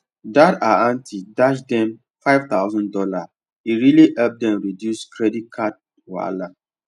that her aunty dash dem five thousand dollar e really help reduce their credit card wahala